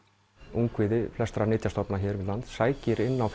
ungviði flestra nytjastofna hér við land sækir inn á